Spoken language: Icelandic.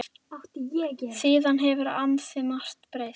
Síðan hefur ansi margt breyst.